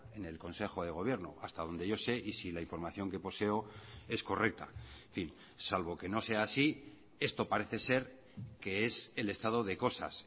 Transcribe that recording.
en el consejo de gobierno hasta donde yo sé y si la información que poseo es correcta en fin salvo que no sea así esto parece ser que es el estado de cosas